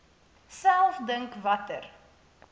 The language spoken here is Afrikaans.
self dink watter